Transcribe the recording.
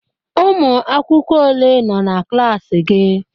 Ụmụ akwụkwọ ole nọ na klaasị gị?